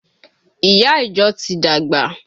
Ìyá ìjọ ti dàgbà